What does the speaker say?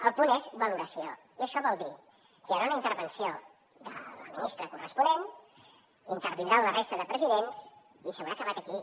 el punt és valoració i això vol dir que hi haurà una intervenció de la ministra corres ponent intervindran la resta de presidents i s’haurà acabat aquí